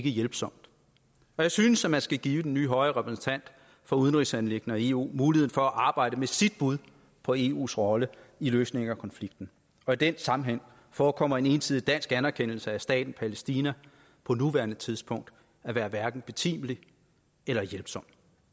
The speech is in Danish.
hjælpsomt og jeg synes at man skal give den nye høje repræsentant for udenrigsanliggender i eu muligheden for at arbejde med sit bud på eus rolle i løsningen af konflikten og i den sammenhæng forekommer en ensidig dansk anerkendelse af staten palæstina på nuværende tidspunkt at være hverken betimelig eller hjælpsom